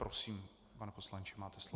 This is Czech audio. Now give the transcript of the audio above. Prosím, pane poslanče, máte slovo.